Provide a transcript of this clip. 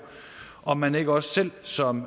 om man ikke også selv som